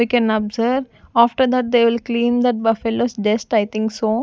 we can observe after that they will clean the buffaloes just i think so--